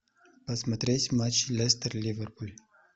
посмотреть матч лестер ливерпуль